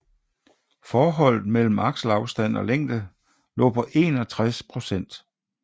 Forholdet mellem akselafstand og længde lå på 61 procent